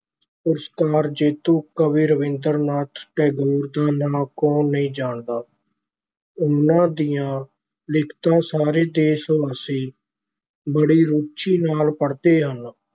ਪੁਰਸਕਾਰ ਜੇਤੂ ਕਵੀ ਰਾਬਿੰਦਰ ਨਾਥ ਟੈਗੋਰ ਦਾ ਨਾਂ ਕੌਣ ਨਹੀਂ ਜਾਣਦਾ ਉਨ੍ਹਾਂ ਦੀਆਂ ਲਿਖਤਾਂ ਸਾਰੇ ਦੇਸ਼ ਵਾਸੀ ਬੜੀ ਰੁਚੀ ਨਾਲ ਪੜਦੇ ਹਨ।